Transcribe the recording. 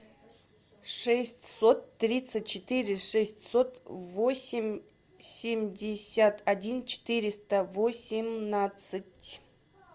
шестьсот тридцать четыре шестьсот восемьдесят один четыреста восемнадцать